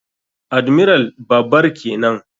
Admiral babar kenan.